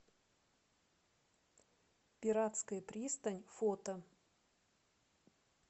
пиратская пристань фото